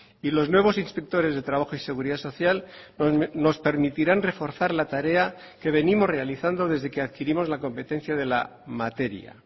y los nuevos inspectores de trabajo y seguridad social nos permitirán reforzar la tarea que venimos realizando desde que adquirimos la competencia de la materia